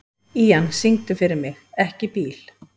Ían, syngdu fyrir mig „Ekki bíl“.